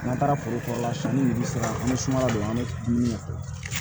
N'an taara foro kɔrɔ la sanni nunnu bi se ka an be sumaya don an be dumuni kɛ